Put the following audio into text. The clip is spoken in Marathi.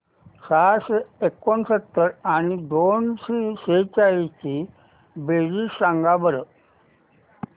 सहाशे एकोणसत्तर आणि दोनशे सेहचाळीस ची बेरीज सांगा बरं